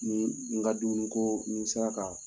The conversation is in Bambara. Ni n ka dumuni ko, ni n sera ka